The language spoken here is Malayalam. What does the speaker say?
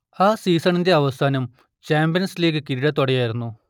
ആ സീസണിന്റെ അവസാനം ചാമ്പ്യൻസ് ലീഗ് കിരീടത്തോടെയായിരുന്നു